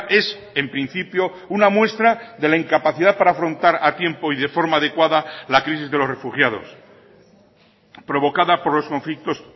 es en principio una muestra de la incapacidad para afrontar a tiempo y de forma adecuada la crisis de los refugiados provocada por los conflictos